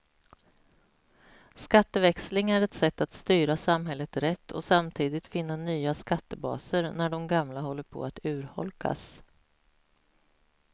Skatteväxling är ett sätt att styra samhället rätt och samtidigt finna nya skattebaser när de gamla håller på att urholkas.